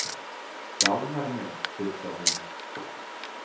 Dánarmein, hugsar hún.